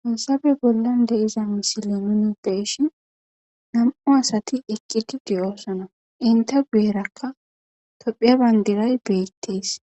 Hayissappe bollani deyiza misile nunni beyiahini namu'u assati eqidi dossona, enitta guyera topphiya banidirayi dessi,